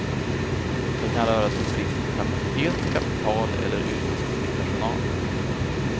Det kan röra sig om brist på kapacitet, kapital eller yrkeskunnig personal.